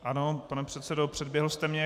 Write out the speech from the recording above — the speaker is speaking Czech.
Ano, pane předsedo, předběhl jste mě.